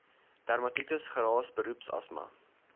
dermatitis geraas beroepsasma